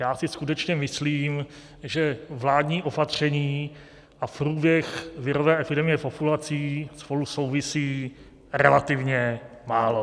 Já si skutečně myslím, že vládní opatření a průběh virové epidemie populací spolu souvisí relativně málo.